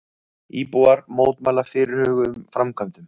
Íbúar mótmæla fyrirhuguðum framkvæmdum